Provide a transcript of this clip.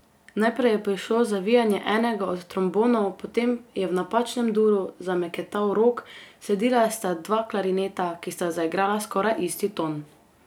Najprej je prišlo zavijanje enega od trombonov, potem je v napačnem duru zameketal rog, sledila sta dva klarineta, ki sta zaigrala skoraj isti ton.